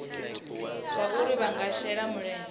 zwauri vha nga shela mulenzhe